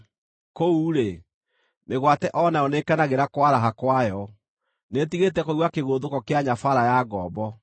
Kũu-rĩ, mĩgwate o nayo nĩĩkenagĩra kwaraha kwayo; nĩĩtigĩte kũigua kĩgũthũko kĩa nyabaara ya ngombo.